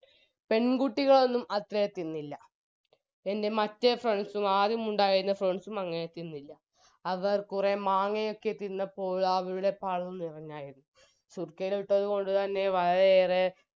പെൺകുട്ടികളൊന്നും അത്രേ തിന്നില്ല എൻറെ മറ്റേ friends ഉം ആദ്യം ഉണ്ടായിരുന്ന friends ഉം അങ്ങനെ തിന്നില്ല അവർ കുറെ മാങ്ങയൊക്കെ തിന്നപ്പോൾ ആ നിറഞ്ഞതായിരുന്നു